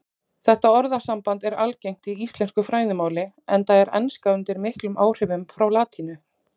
Þetta orðasamband er algengt í ensku fræðimáli enda er enska undir miklum áhrifum frá latínu.